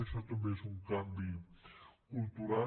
això també és un canvi cultural